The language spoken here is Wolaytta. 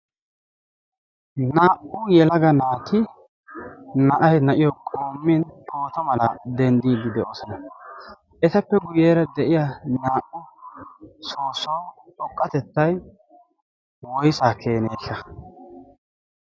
naa'u yelaga naati na'ahi na'iyo qommin pooto mala denddiiddi de'oosona. etappe guyyeera de'iya naa'u soossawu xoqqatettai woisaa keenee?